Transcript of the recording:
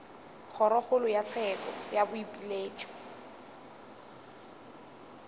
kgorokgolo ya tsheko ya boipiletšo